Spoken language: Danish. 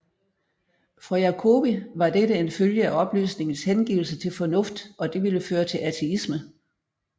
For Jacobi var dette en følge af oplysningens hengivelse til fornuft og det ville føre til ateisme